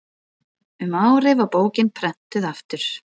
um árið var bókin prenntuð aftur